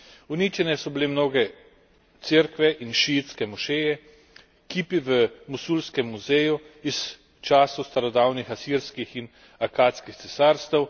Uničene so bile mnoge cerkve in šiitske mošeje, kipi v mosulskem muzeju iz časov starodavnih asirskih in akatskih cesarstev.